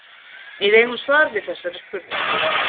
Við eigum svar við þessari spurningu.